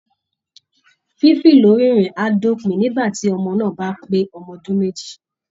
Fífì lórí ìrìn á dópin nígbà tí ọmọ náà bá pè ọdún méjì